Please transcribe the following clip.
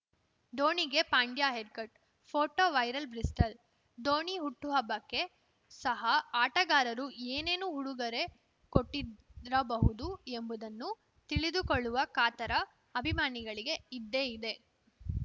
ಧೋನಿಗೆ Pandya haircut photo viral Bristol Dhoni ಹುಟ್ಟುಹಬ್ಬಕ್ಕೆ ಸಹ ಆಟಗಾರರು ಏನೇನು ಉಡುಗೊರೆ ಕೊಟ್ಟಿರಬಹುದು ಎಂಬುದನ್ನು ತಿಳಿದುಕೊಳ್ಳುವ ಕಾತರ ಅಭಿಮಾನಿಗಳಿಗೆ ಇದ್ದೇ ಇದೆ